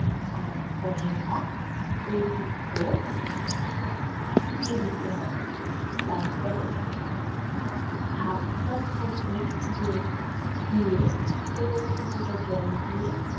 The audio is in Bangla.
আর করলা ঐ দুটো দিয়ে দিতে হবে। তারপরে half-cup মতন দুধ দিয়ে এবং কিছুটা জল দিয়ে